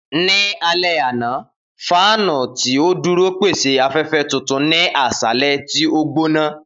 Ni alẹ ana, fáànù ti o duro pese afẹfẹ tutu ni aṣalẹ ti o gbona.